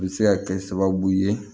U bɛ se ka kɛ sababu ye